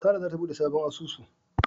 Sara zata bude sabon asusu.